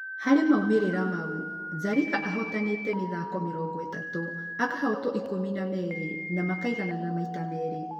Harĩ maumĩrĩra mau, Zarika ahotanĩte mĩthako mĩrongo ĩtatũ, akahotwo ikũmi na merĩ na makaiganana maita meerĩ